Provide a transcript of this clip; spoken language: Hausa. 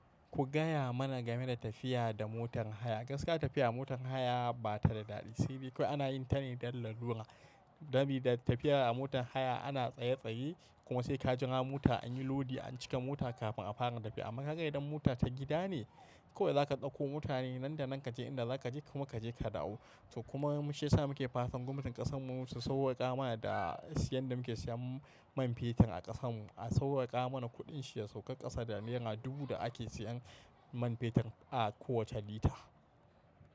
Ku gaya mana game da tafiya da motar haya. Gaskiya tafiya a motar haya ba ta da daɗi, sai dai kawai ana yin ta ne don lalura. Gami da tafiya a motar haya ana tsaye-tsaye kuma sai ka jira mota an yi lodi an cika mota kafin a fara tafiya. Amma ka ga idan mota ta gida ne, kawai da ka ɗauko mota ne nan da nan kaje inda daka dakaje kuma kaje ka dawo to kuma mu shiyasa muke fatan gwamnatin ƙasan mu mu su sauwwaƙa mana da siyan da muke siyan man fetur a ƙasan mu, a sauƙaƙa mana kuɗin shi ya sauƙa ƙasa da naira dubu da ake siyan man fetur a kowacce lita.